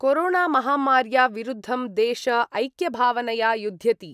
कोरोणामहामार्या विरुद्धं देश ऐक्यभावनया युध्यति।